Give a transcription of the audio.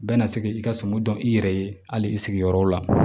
Bɛɛ na se k'i ka sɔmi dɔn i yɛrɛ ye hali i sigiyɔrɔ la